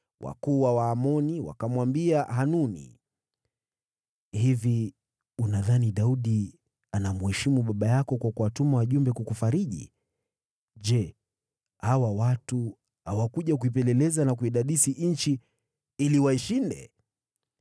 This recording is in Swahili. wakuu wa Waamoni wakamwambia Hanuni, “Hivi unadhani Daudi anamheshimu baba yako kwa kuwatuma wajumbe kukufariji? Je, hawa watu hawakuja kuipeleleza na kuidadisi nchi ili waishinde?”